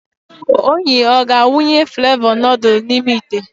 Onyi ọ ga-awụnye flevọ nudul n'ime ite?